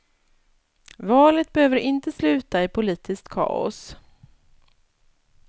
Valet behöver inte sluta i politiskt kaos.